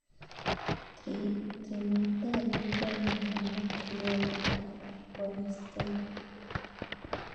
Trinitario ko agenge nebo Criollo ak Forastero